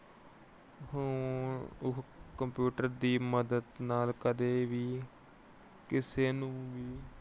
computer ਦੀ ਮਦਦ ਨਾਲ ਕਦੇ ਵੀ ਕਿਸੇ ਨੂੰ ਵੀ